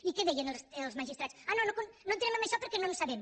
i què deien els magistrats ah no no entrem en això perquè no en sabem